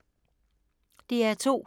DR2